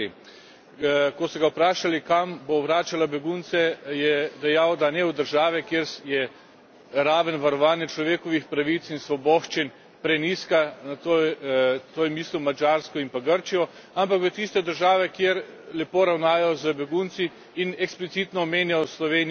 Ko so ga vprašali, kam bo vračala begunce, je dejal, da ne v države, kjer je raven varovanja človekovih pravic in svoboščin prenizka tu je mislil Madžarsko in pa Grčijo ampak v tiste države, kjer lepo ravnajo z begunci, in eksplicitno omenjal Slovenijo in Hrvaško.